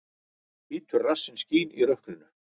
Hvítur rassinn skín í rökkrinu.